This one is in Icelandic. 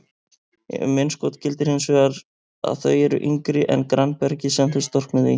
Um innskot gildir hins vegar að þau eru yngri en grannbergið sem þau storknuðu í.